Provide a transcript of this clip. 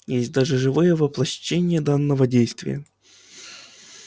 есть даже живые воплощение данного действия